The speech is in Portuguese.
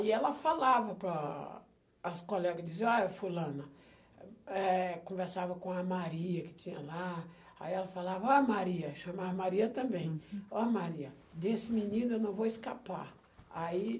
E ela falava para as colegas, dizia, olha fulana, eh, conversava com a Maria que tinha lá, aí ela falava, olha Maria, chamava Maria também, olha Maria, desse menino eu não vou escapar. Aí...